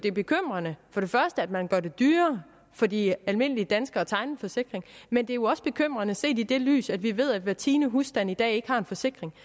er bekymrende at man gør det dyrere for de almindelige danskere at tegne en forsikring men det er jo også bekymrende set i det lys at vi ved at hver tiende husstand i dag ikke har en forsikring